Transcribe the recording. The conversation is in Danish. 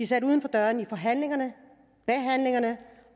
sat uden for døren i forhandlingerne behandlingerne